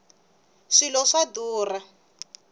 swilo swa durha